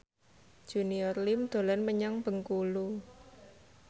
Junior Liem dolan menyang Bengkulu